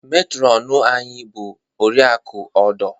Metrọnu anyị bụ Oriakụ Odoh.